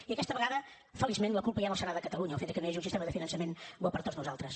i aquesta vegada feliçment la culpa ja no serà de catalunya del fet de que no hi hagi un sistema de finançament bo per a tots nosaltres